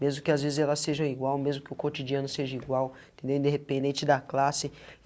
mesmo que as vezes ela seja igual, mesmo que o cotidiano seja igual, entendeu independente da classe.